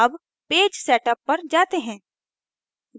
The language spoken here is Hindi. अब page setup पर जाते हैं